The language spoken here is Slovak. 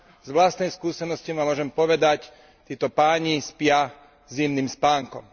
z vlastnej skúsenosti môžem povedať, títo páni spia zimným spánkom.